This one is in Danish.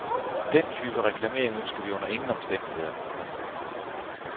Den type reklamering ønsker vi under ingen omstændigheder. punktum